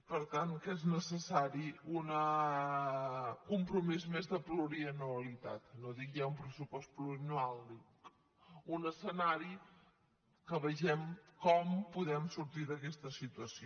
per tant que és més necessari un compromís més de plurianualitat no dic ja un pressupost plurianual un escenari que vegem com podem sortir d’aquesta situació